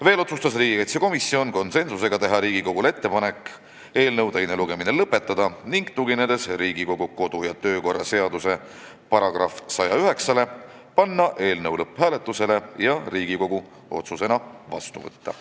Veel otsustas komisjon konsensusega teha Riigikogule ettepaneku eelnõu teine lugemine lõpetada ning tuginedes Riigikogu kodu- ja töökorra seaduse §-le 109, panna eelnõu lõpphääletusele ja Riigikogu otsusena vastu võtta.